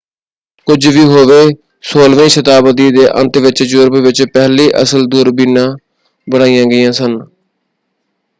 ਕੁਝ ਵੀ ਹੋਵੇ 16ਵੀ ਸ਼ਤਾਬਦੀ ਦੇ ਅੰਤ ਵਿੱਚ ਯੂਰਪ ਵਿੱਚ ਪਹਿਲੀ ਅਸਲ ਦੂਰਬੀਨਾਂ ਬਣਾਈਆਂ ਗਈਆਂ ਸਨ।